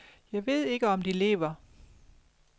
Jeg ved ikke om de lever.